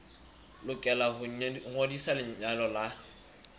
lokela ho ngodisa lenyalo la